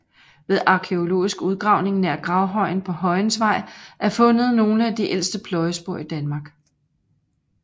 Ved arkæologisk udgravning nær gravhøjen på Højensvej er fundet nogle af de ældste pløjespor i Danmark